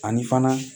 Ani fana